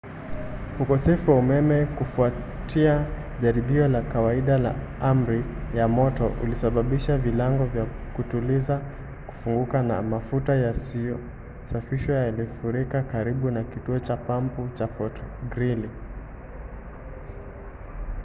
ukosefu wa umeme kufuatia jaribio la kawaida la amri ya moto ulisababisha vilango vya kutuliza kufunguka na mafuta yasiyosafishwa yalifurika karibu na kituo cha pampu cha fort greely